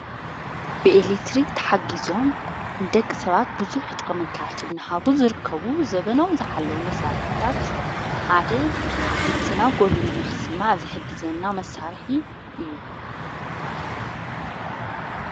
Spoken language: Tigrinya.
ብኤልክትሪ ተሓጊዞም ደቂ ሰባት ብዙሕ ጥቕምታት እንሃቦ ዝርከቡ ዘበኖም ዝኃለዉ መሣርስታት ሓደ ድምጽና ጐልዩ ነኽስማዕ ዘሕግዘና መሣርሒ እዩ።